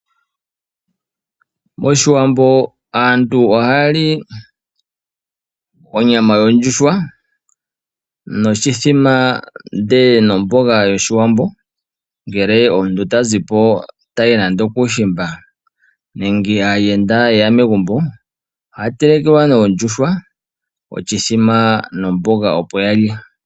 Moshiwambo aantu ohaya li onyama yondjuhwa noshi thima ndele nomboga yoshi Wambo, ngele omuntu ta zipo tayi nande okuu shimba nenge aayenda yeya megumbo ohaya telekwa nee ondjuhwa, oshithima nomboga opo yalye